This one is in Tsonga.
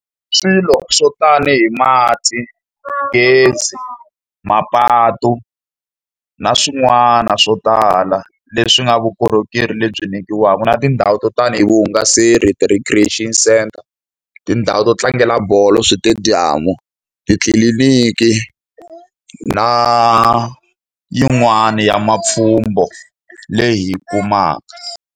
Swilo swo tanihi mati, gezi, mapatu na swin'wana swo tala leswi nga vukorhokeri lebyi nyikiwaka. Na tindhawu to tanihi vuhungaselo ti-recreaction centre, tindhawu to tlangela bolo, switediyamu, titliliniki na yin'wani ya mapfhumba leyi hi yi kumaka.